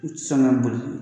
U tɛ sɔn ka boli